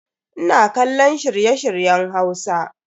Ina kallon shirye-shiryen Hausa.